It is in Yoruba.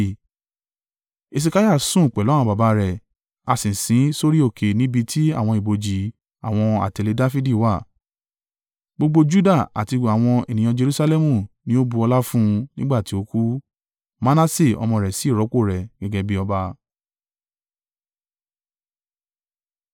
Hesekiah sùn pẹ̀lú àwọn baba rẹ̀. A sì sin ín sórí òkè níbi tí àwọn ibojì àwọn àtẹ̀lé Dafidi wà. Gbogbo Juda àti àwọn ènìyàn Jerusalẹmu ni ó bu ọlá fún un nígbà tí ó kú. Manase ọmọ rẹ̀ sì rọ́pò rẹ̀ gẹ́gẹ́ bí ọba.